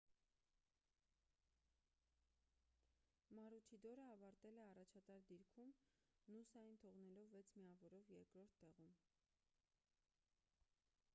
մարուչիդորը ավարտել է առաջատար դիրքում նուսային թողնելով վեց միավորով երկրորդ տեղում